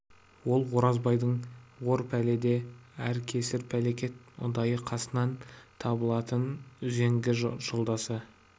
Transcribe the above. ол оразбайдың ор пәледе әр кесір әлекте ұдайы қасынан табылатын үзеңгі жолдасы